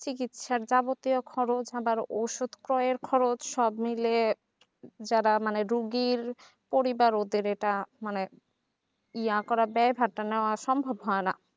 চিকিৎসার যাবতীয় খরচ আবার ওষুধ ক্রয়ের খরচ সব মিলিয়ে যারা মানে রুগীর পরিবার ওদের এটা মানে ইয়া করা দায় ভার টা নেওয়া সম্ভব হয় না